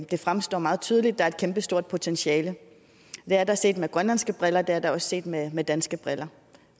det fremstår meget tydeligt at der er et kæmpestort potentiale det er der set med grønlandske briller og det er der også set med med danske briller